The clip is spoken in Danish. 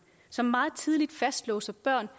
som meget tidligt fastlåser børn